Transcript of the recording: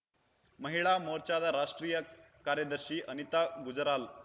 ಮಹಿಳಾ ಮೋರ್ಚಾದ ರಾಷ್ಟ್ರೀಯ ಕಾರ್ಯದರ್ಶಿ ಅನಿತಾ ಗುಜರಾಲ್